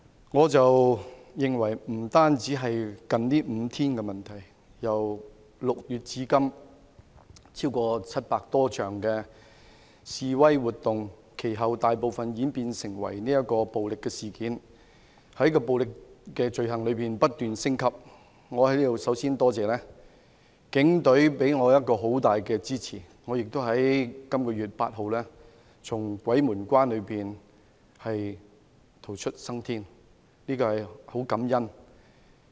我認為這不僅是近5天的問題，由6月至今，有超過700多場的示威活動，其後大部分演變為暴力事件，而暴力罪行亦不斷升級，我在此首先感謝警隊給予我很大的支持，我亦在本月8日從鬼門關逃出生天，對此我很感恩。